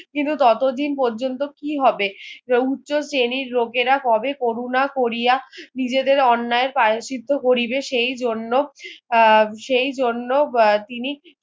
কিন্তু ততদিন পর্যন্তু কি হবে উচ্চ শ্রেণীর লোকেরা কবে কোরুনা কোরিয়া নিজেদের অন্যায় এর প্রায়াশ্চিত্ত করিবে সেই জন্য আহ সেই জন্য তিনি